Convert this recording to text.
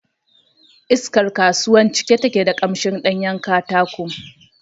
Iskar kasuwan cike take da ƙamshin ɗanyen katako